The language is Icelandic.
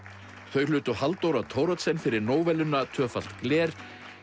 þau hlutu Halldóra Thoroddsen fyrir tvöfalt gler